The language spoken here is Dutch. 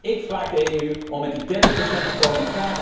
Ik vraag de EU om met die 30 procent te komen.